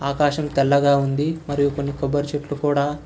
ఆకాశం తెల్లగా ఉంది మరియు కొన్ని కొబ్బరి చెట్లు కూడా--